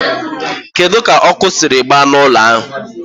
keduzị ka ọkụ siri gbaa ụlọ ahịa?